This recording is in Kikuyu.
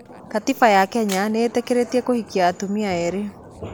Gatiba ya Kenya nĩĩtikirĩtie kũhikia atumia eerĩ